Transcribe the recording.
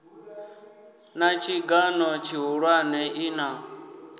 na tshigan o tshihulwane ina